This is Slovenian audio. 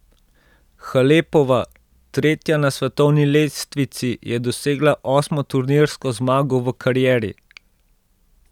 Halepova, tretja na svetovni lestvici, je dosegla osmo turnirsko zmago v karieri.